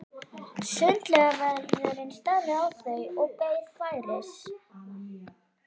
Sundlaugarvörðurinn starði á þau og beið færis.